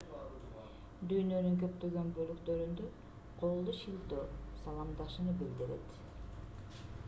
дүйнөнүн көптөгөн бөлүктөрүндө колду шилтөө саламдашууну билдирет